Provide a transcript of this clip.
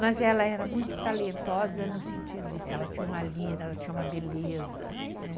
Mas ela era muito talentosa no sentido disso, ela tinha uma lira, ela tinha uma beleza, né?